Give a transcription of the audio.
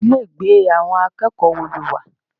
Ilé ìgbé àwọn akẹ́kọ̀ọ́ wo lo wà?